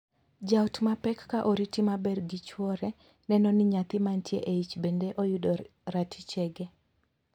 Jaot ma pek ka oriti maber gi chwore neno ni nyathi mantie eich bende oyudo ratichege.